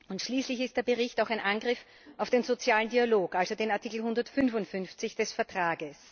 Und schließlich ist der Bericht auch ein Angriff auf den sozialen Dialog, also auf Artikel 155 des Vertrags.